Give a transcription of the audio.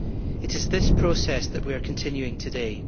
It is this process that we are continuing today.